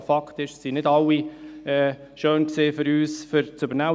Es war für uns nicht bei allen schön, sie zu übernehmen.